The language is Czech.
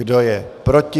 Kdo je proti?